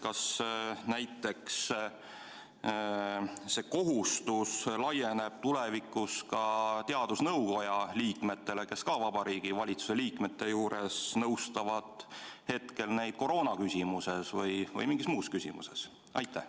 Kas see kohustus laieneb tulevikus ka näiteks teadusnõukoja liikmetele, kes nõustavad Vabariigi Valitsuse liikmeid koroonaküsimuses või mingis muus küsimuses?